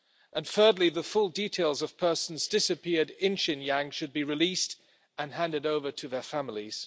And thirdly, the full details of persons disappeared in Xinjiang should be released and handed over to their families.